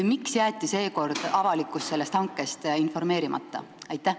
Ja miks jäeti seekord avalikkus sellest hankest informeerimata?